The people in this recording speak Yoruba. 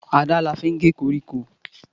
Àdá la fín gẹ kọríkọ